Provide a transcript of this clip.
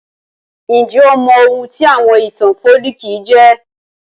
Njẹ́ o mọ oun tí àwon ìtàn folkí jẹ́?